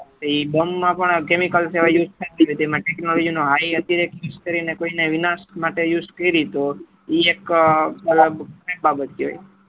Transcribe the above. એ bomb માં પણ chemical use ઘણા થતું હોય તેમાં technology નો અતિરેક્ત use કરી ને કોઈ ના વિનાશ માટે use કરે તો એ એક મતલબ ખરાબ બાબત કેવાય